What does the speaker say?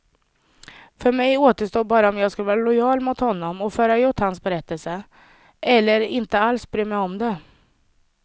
För mig återstod bara om jag skulle vara lojal mot honom och föra ut hans berättelse, eller inte alls bry mig om det.